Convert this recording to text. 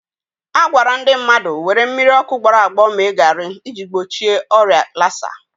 A gwara ndị mmadụ were mmiri ọkụ gbọrọ agbọ mee garị iji gbochi ọrịa lasa